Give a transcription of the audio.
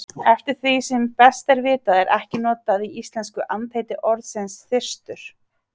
Eftir því sem best er vitað er ekki notað í íslensku andheiti orðsins þyrstur.